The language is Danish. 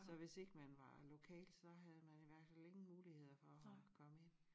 Så hvis ikke man var lokal så havde man i hvert fald ingen muligheder for at komme ind